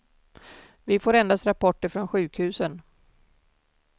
Vi får endast rapporter från sjukhusen.